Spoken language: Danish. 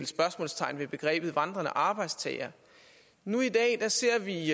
spørgsmålstegn ved begrebet vandrende arbejdstagere nu ser vi i